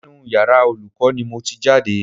Inú yàrá Olùkọ́ ni mo ti jáde